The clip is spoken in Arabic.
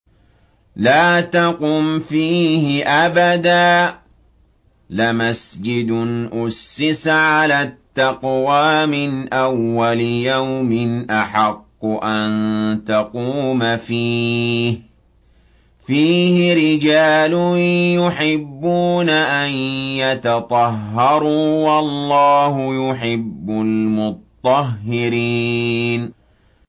لَا تَقُمْ فِيهِ أَبَدًا ۚ لَّمَسْجِدٌ أُسِّسَ عَلَى التَّقْوَىٰ مِنْ أَوَّلِ يَوْمٍ أَحَقُّ أَن تَقُومَ فِيهِ ۚ فِيهِ رِجَالٌ يُحِبُّونَ أَن يَتَطَهَّرُوا ۚ وَاللَّهُ يُحِبُّ الْمُطَّهِّرِينَ